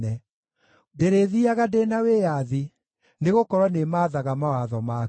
Ndĩrĩthiiaga ndĩ na wĩyathi, nĩgũkorwo nĩmaathaga mawatho maku.